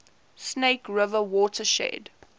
snake river watershed